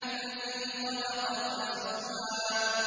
الَّذِي خَلَقَ فَسَوَّىٰ